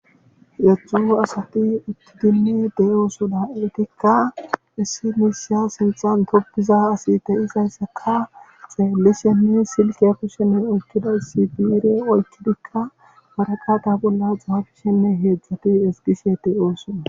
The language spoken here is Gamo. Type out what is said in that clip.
Heedzdzu asati uttidinne de'oosona. eetikka issi bessa sinththan tobiza asi de'izayssakka xeelishenne silkiya kushiyan oykkidayssi biire oykidikka waraqata bolla xaafishenne heedzdzati ezggishe de'osona.